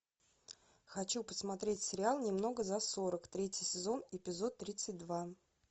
хочу посмотреть сериал немного за сорок третий сезон эпизод тридцать два